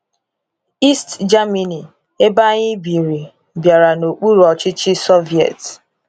East Germany, ebe anyi biri, bịara n'okpuru ọchịchị Soviet.